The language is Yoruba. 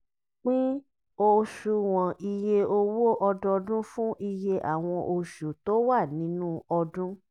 pin òṣùwọ̀n iye owó ọdọọdún fún iye àwọn oṣù tó wà nínú ọdún.